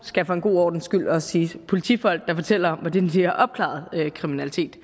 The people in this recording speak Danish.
skal for en god ordens skyld også siges af politifolk der fortæller om hvordan de har opklaret kriminalitet